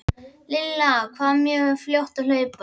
Lilla var mjög fljót að hlaupa.